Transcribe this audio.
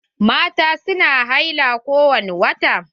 Mata su na haila ko wani wata.